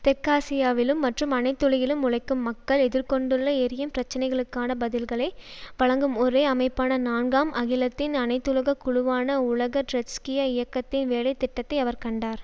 தெற்காசியாவிலும் மற்றும் அனைத்துலகிலும் உழைக்கும் மக்கள் எதிர் கொண்டுள்ள எரியும் பிரச்சினைகளுக்கான பதில்களை வழங்கும் ஒரே அமைப்பான நான்காம் அகிலத்தின் அனைத்துலக குழுவான உலக ட்ரொட்ஸ்கிய இயக்கத்தி வேலைத்திட்ட்ததை அவர் கண்டார்